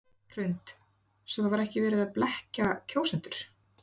Hrund: Svo það var ekki verið að blekkja kjósendur?